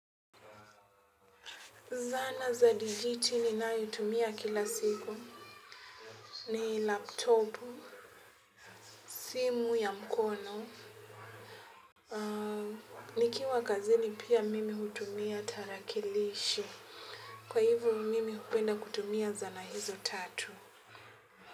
Zana za digiti ninayotumia kila siku. Ni laptop, simu ya mkono. Nikiwa kazini pia mimi hutumia tarakilishi kwa hivo mimi hupenda kutumia zana hizo tatu.